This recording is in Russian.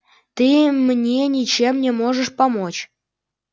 ты мне ничем не можешь помочь